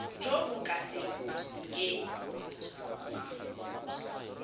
jo bo ka se keng